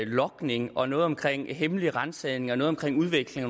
logning og noget omkring hemmelige ransagninger og noget omkring udveksling